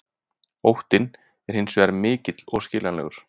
Óttinn er hins vegar mikill og skiljanlegur.